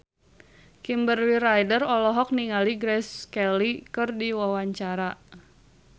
Kimberly Ryder olohok ningali Grace Kelly keur diwawancara